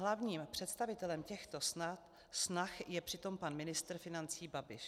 Hlavním představitelem těchto snah je přitom pan ministr financí Babiš.